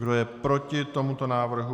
Kdo je proti tomuto návrhu?